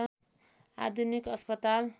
आधुनिक अस्पताल